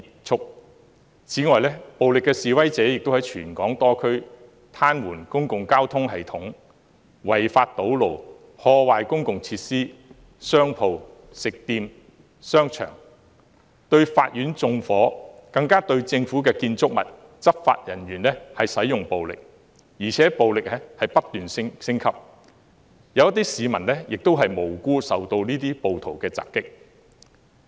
此外，暴力示威者亦在全港多區癱瘓公共交通系統、違法堵路，破壞公共設施、商鋪、食店和商場、對法院縱火，更對政府建築物和執法人員使用暴力，而且暴力程度不斷升級，有些市民亦無辜受到暴徒襲擊。